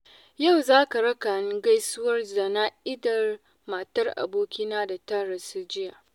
Yau za ka raka ni gaisuwar jana'izar matar abokina da ta rasu jiya.